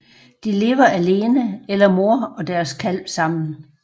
De lever alene eller mor og deres kalv sammen